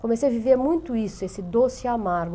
Comecei a viver muito isso, esse doce e amargo.